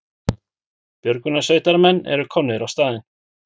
Björgunarsveitarmenn eru komnir á staðinn